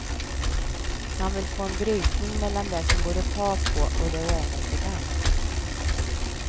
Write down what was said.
Han vill få en brytning mellan det som går att ta på och det oändliga.